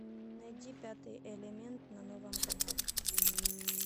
найди пятый элемент на новом канале